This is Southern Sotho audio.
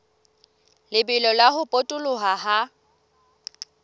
lebelo la ho potoloha ha